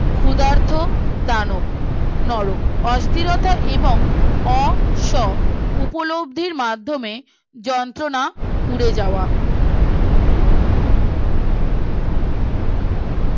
ক্ষুধার্ত দানব নরম অস্থিরতা এবং অ স উপলব্ধির মাধ্যমে যন্ত্রনা পুড়ে যাওয়া